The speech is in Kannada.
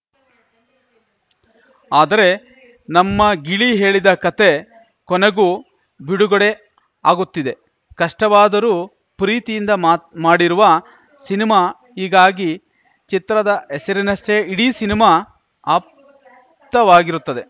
ಆದರೆ ನಮ್ಮ ಗಿಳಿ ಹೇಳಿದ ಕಥೆ ಕೊನೆಗೂ ಬಿಡುಗಡೆ ಆಗುತ್ತಿದೆ ಕಷ್ಟವಾದರೂ ಪ್ರೀತಿಯಿಂದ ಮಾತ್ ಮಾಡಿರುವ ಸಿನಿಮಾ ಹೀಗಾಗಿ ಚಿತ್ರದ ಹೆಸರಿನಷ್ಟೇ ಇಡೀ ಸಿನಿಮಾ ಆಪ್ತವಾಗಿರುತ್ತದೆ